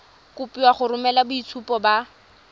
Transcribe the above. kopiwa go romela boitshupo ba